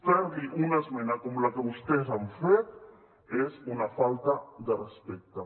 fer li una esmena com la que vostès han fet és una falta de respecte